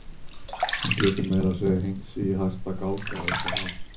Hún getur meira að segja hengt sig í hæsta gálga upp á það.